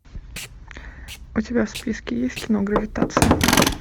у тебя в списке есть кино гравитация